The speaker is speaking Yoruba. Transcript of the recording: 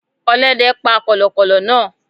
Ọlóde pa kòlòkòlò náa